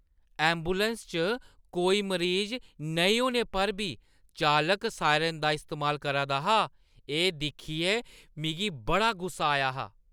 Ambulance च कोई मरीज नेईं होने पर बी चालक सायरन दा इस्तेमाल करा दा हा, एह् दिक्खियै मिगी बड़ा गुस्सा आया हा।